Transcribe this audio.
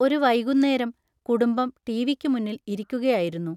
ഒരു വൈകുന്നേരം കുടുംബം ടി.വി.ക്കുമുമ്പിൽ ഇരിക്കുകയായിരുന്നു.